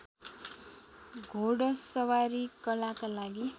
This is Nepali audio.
घोडसवारी कलाका लागि